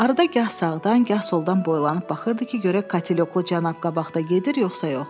Arada gah sağdan, gah soldan boylanıb baxırdı ki, görək katyoklu cənab qabaqda gedir, yoxsa yox.